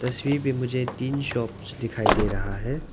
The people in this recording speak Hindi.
तस्वीर पे मुझे तीन शॉप्स दिखाई दे रहा है।